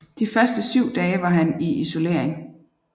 De første syv dage var han i isolering